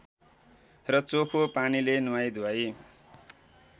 र चोखो पानीले नुहाई धुवाई